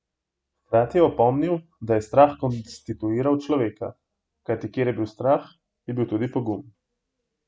Hkrati je opomnil, da je strah konstituiral človeka: 'Kajti kjer je bil strah, je bil tudi pogum.